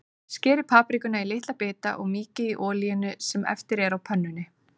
Skerið paprikuna í litla bita og mýkið í olíunni sem eftir er á pönnunni.